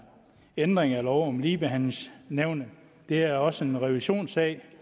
ændring af lov om ligebehandlingsnævnet det er også en revisionssag